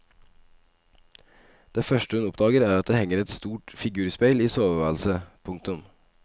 Det første hun oppdager er at det henger et stort figurspeil i soveværelset. punktum